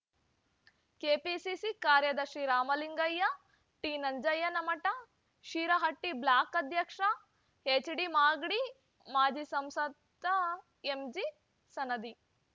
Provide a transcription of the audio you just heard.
KPCC ಕಾರ್ಯದರ್ಶಿ Ramalingaiah T Nanjayyanamath Shirahatti block ಅಧ್ಯಕ್ಷ ಎಚ್ಡಿಮಾಗಡಿ ಮಾಜಿ ಸಂಸದ ಎಂ ಜಿ ಸನದಿ